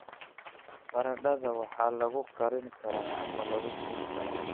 Baradhada waxaa lagu karin karaa ama lagu shiidi karaa.